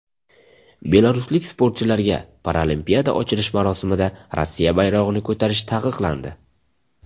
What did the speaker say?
Belaruslik sportchilarga Paralimpiada ochilish marosimida Rossiya bayrog‘ini ko‘tarish taqiqlandi.